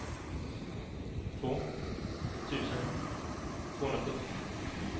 två tusen tvåhundrasjuttio